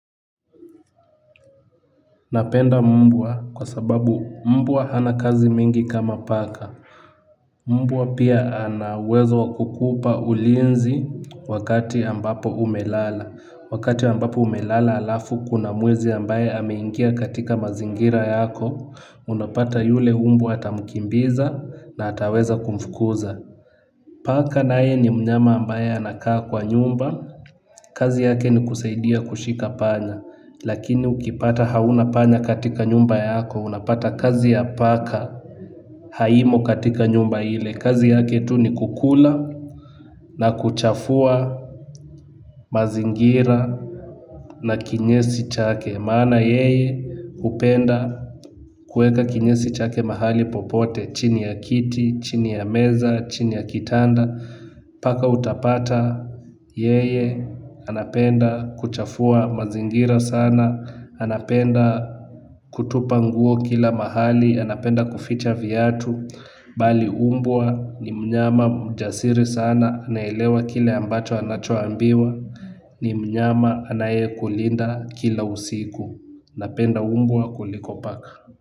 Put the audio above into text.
Napenda mbwa kwa sababu mbwa hana kazi mingi kama paka. Mbwa pia ana uwezo wakukupa ulinzi wakati ambapo umelala. Wakati ambapo umelala alafu kuna mwizi ambaye ameingia katika mazingira yako, unapata yule mbwa atamkimbiza na ataweza kumfukuza. Paka naye ni mnyama ambaye anakaa kwa nyumba, kazi yake ni kusaidia kushika panya. Lakini ukipata hauna panya katika nyumba yako unapata kazi ya paka haimo katika nyumba ile. Kazi yake tu ni kukula na kuchafua mazingira na kinyesi chake. Maana yeye hupenda kuweka kinyesi chake mahali popote chini ya kiti, chini ya meza, chini ya kitanda. Paka utapata yeye, anapenda kuchafua mazingira sana. Anapenda kutupa nguo kila mahali, anapenda kuficha viatu. Bali mbwa ni mnyama mjasiri sana, anaelewa kile ambacho anachoambiwa. Ni mnyama anaye kulinda kila usiku napenda mbwa kuliko paka.